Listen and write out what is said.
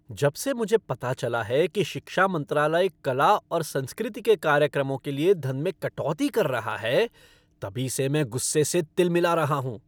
जब से मुझे पता चला है कि शिक्षा मंत्रालय कला और संस्कृति के कार्यक्रमों के लिए धन में कटौती कर रहा है तभी से मैं गुस्से से तिलमिला रहा हूँ।